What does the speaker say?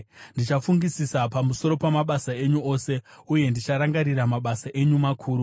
Ndichafungisisa pamusoro pamabasa enyu ose, uye ndicharangarira mabasa enyu makuru.